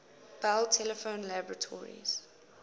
bell telephone laboratories